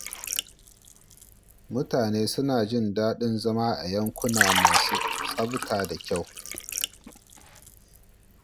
Mutane suna jin daɗin zama a yankuna masu tsafta da kyau.